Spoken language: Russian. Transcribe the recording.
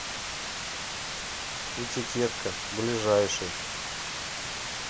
этикетка ближайший